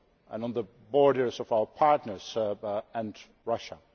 and on the borders of our partners and Russia.